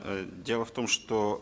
э дело в том что